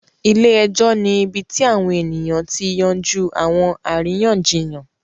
Ile-ẹjọ ni ibi ti awọn eniyan ti yanju awọn ariyanjiyan